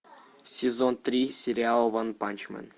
сезон три сериал ванпанчмен